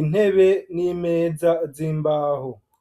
intebe n'imeza z'imbaho.